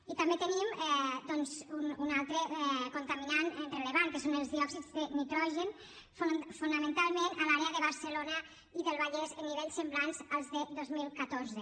i també tenim doncs un altre contaminant rellevant que són els diòxids de nitrogen fonamentalment a l’àrea de barcelona i del vallès en nivells semblants als del dos mil catorze